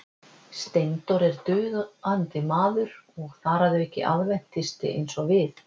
Steindór er dugandi maður og þar að auki aðventisti eins og við.